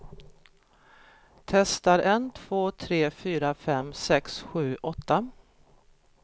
Testar en två tre fyra fem sex sju åtta.